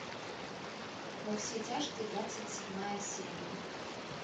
во все тяжкие двадцать седьмая серия